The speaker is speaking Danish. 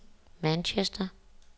Manchester